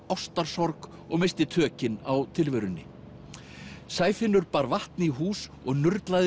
ástarsorg og missti tökin á tilverunni bar vatn í hús og